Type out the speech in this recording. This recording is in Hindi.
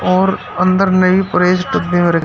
और अंदर में भी प्रेस डब्बे में र--